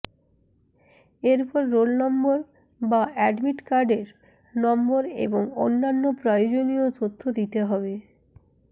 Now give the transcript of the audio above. এরপর roll number বা admit কার্ডের নম্বর এবং অন্যান্য প্রয়োজনীয় তথ্য দিতে হবে